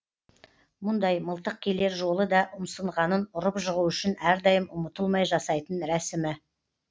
мұндай мылтық келер жолы да ұмсынғанын ұрып жығу үшін әрдайым ұмытылмай жасайтын рәсімі